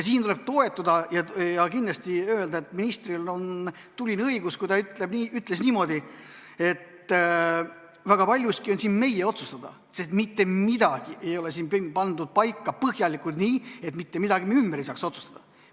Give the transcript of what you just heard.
Siin tuleb toetada ja öelda, et ministril oli tuline õigus, kui ta ütles niimoodi, et väga paljuski on see meie otsustada, sest mitte midagi ei ole pandud paika põhjalikult, nii et mitte midagi me ümber ei saaks otsustada.